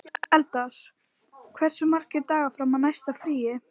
Eldar, hversu margir dagar fram að næsta fríi?